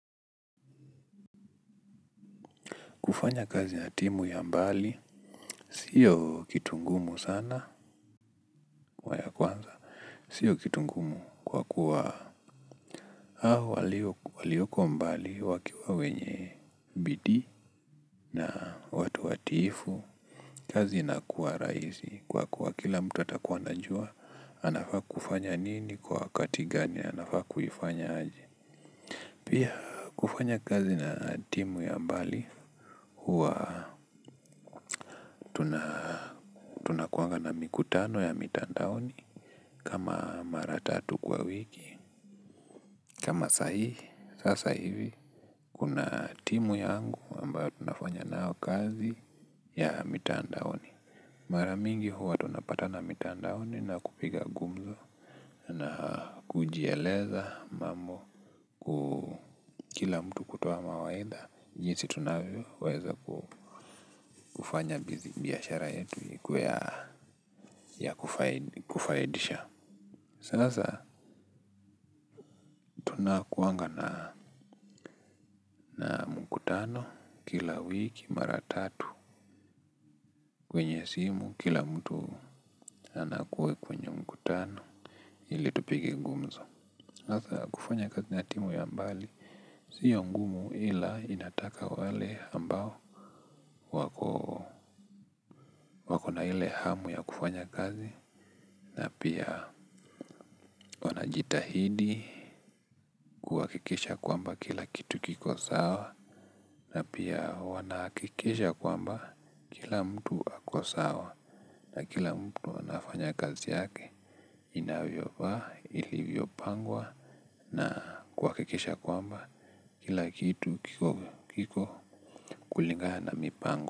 Kufanya kazi na timu ya mbali, sio kitungumu sana, waya kwanza. Sio kitungumu kwa kuwa hao walioko mbali wakiwa wenye bidi na watu watifu. Kazi inakuwa raisi kwa kuwa kila mtu atakuwa anajua, anafaa kufanya nini kwa wakatigani, anafaa kuifanya aje. Pia kufanya kazi na timu ya mbali, huwa tunakuanga na miku tano ya mitandaoni. Kama maratatu kwa wiki. Kama saa hii. Sasa hivi kuna timu yangu ambayo tunafanya nayo kazi ya mitandaoni. Maramingi huwa tunapata na mitandaoni. Na kupiga gumzo. Na kujieleza mambo. Kila mtu kutoa mawaidha. Jinsi tunavyo weza kufanya biashara yetu ikuwe ya kufaidisha sasa tunakuanga na mkutano kila wiki mara tatu kwenye simu kila mtu anakuwa kwenye mkutano ili tupige ngumzo hasa. Kufanya kazi natimu ya mbali sio ngumu ila inataka wale ambao wakona ile hamu ya kufanya kazi. Na pia wanajitahidi kuhakikisha kwamba kila kitu kiko sawa. Na pia wanahakikisha kwamba kila mtu akosawa na kila mtu anafanya kazi yake. Inavyo fa, ilivyo pangwa na kuha kikesha kwamba kila kitu kiko kulingana na mipango.